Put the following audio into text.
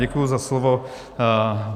Děkuji za slovo.